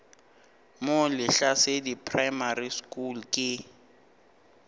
mo lehlasedi primary school ke